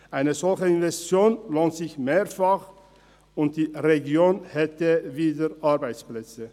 Eine solche Investition lohnt sich mehrfach, und die Region hätte wieder Arbeitsplätze.